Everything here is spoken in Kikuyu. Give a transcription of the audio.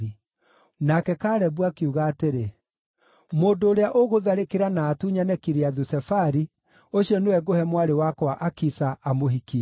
Nake Kalebu akiuga atĩrĩ, “Mũndũ ũrĩa ugũtharĩkĩra na atunyane Kiriathu-Sefari, ũcio nĩwe ngũhe mwarĩ wakwa Akisa, amũhikie.”